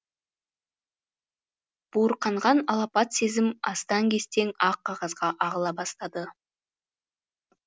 буырқанған алапат сезім астаң кестең ақ қағазға ағыла бастады